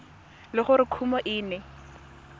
le gore kumo e ne